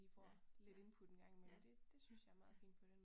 Ja, ja, ja. Ja ja